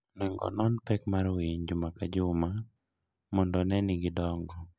Onego onon pek mar winy juma ka juma mondo one ni gidongo.